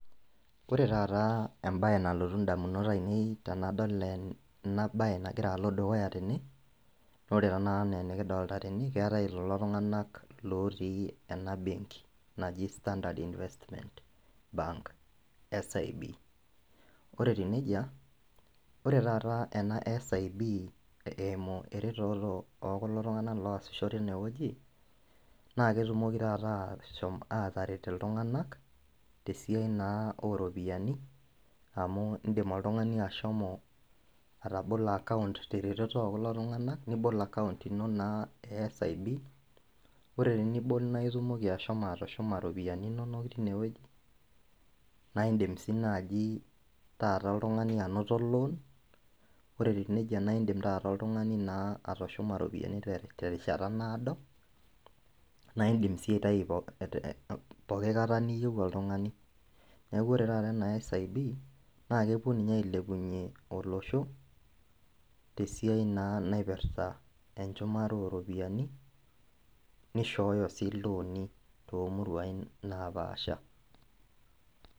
Ore taata embaye nalotu indamunot ainei tanadol ena baye nagira alo dukuya tene nore tenakata enaa enikidolta tene keetae ilelo tung'anak lotii ena benki naji standard investment bank{SIB} ore etiu nejia ore taata ena SIB eimu eretoto okulo tung'anak loosisho tinewoji naa ketumoki taata ashom ataret iltung'anak tesiai naa oropiyiani amu indim oltung'ani ashomo atabolo account teretoto okulo tung'anak nibol account ino naa e SIB ore tinibol naitumoki ashomo atushuma iropiyiani inonok tinewueji naindim sii naaji taata oltung'ani anoto loan ore etiu nejia naindim taata oltung'ani naa atushuma iropiyiani terishata naado naindim sii aitai eh poki kata niyieu oltung'ani neku ore taata ena SIB naa kepuo ninye ailepunyie olosho tesiai naa naipirrta enchumare oropiyiani nishooyo sii ilooni tomuruaini napaasha.